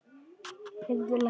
Heyrðu, læknir.